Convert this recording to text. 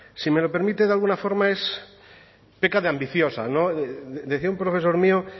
si me lo permite de alguna forma peca de ambiciosa decía un profesor mío